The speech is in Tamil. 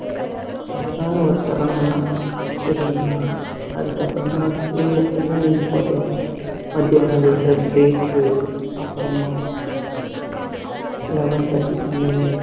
அழகான ஒரு தருணம்தான் தெரியுமா அதுக்கப்புறமா school என்னன்ன important ன்னா மத்தியானம் விட்ற break அப்புறமா eleven thirty க்கு மேல